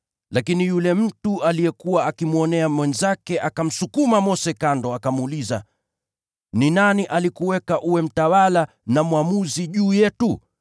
“Lakini yule mtu aliyekuwa akimdhulumu mwenzake akamsukuma Mose kando, akamuuliza, ‘Ni nani aliyekufanya mtawala na mwamuzi juu yetu?